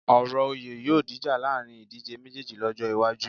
Ọ̀rọ̀ oyè yóò dìjà láàrin ìdíjé méjéèjì lọ́jọ́ iwájú